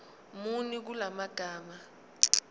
muni kula magama